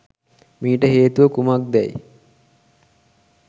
මීට හේතුව කුමක්දැයි